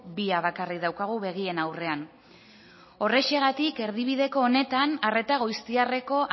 bia bakarrik daukagu begien aurrean horrexegatik erdibideko honetan arreta goiztiarreko